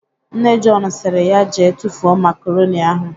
Nne Jọn sịrị ya jee tufuo makaronị ahụ.